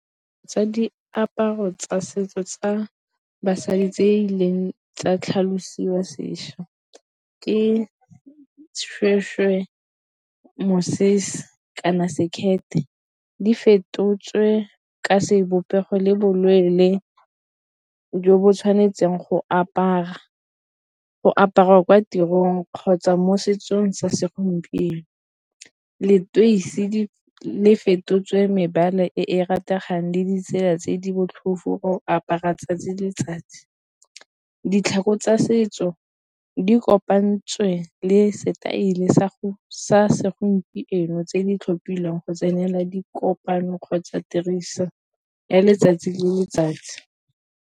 Diaparo tsa setso tsa basadi tse e leng tsa tlhalosiwa sešwa ke seshweshwe, mosese, kana sekete di fetotswe ka sebopego le bo leele jo bo tshwanetseng go aparwa kwa tirong kgotsa mo setsong sa segompieno. Leteisi le fetotswe mebala e e rategang le ditsela tse di botlhofu apara 'tsatsi le letsatsi. Ditlhako tsa setso di kopantswe le setaele sa segompieno tse di tlhophilweng go tsenela dikopano kgotsa tiriso ya letsatsi le letsatsi.